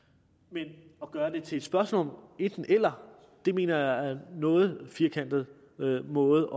men at gøre det til et spørgsmål om enten eller mener jeg er en noget firkantet måde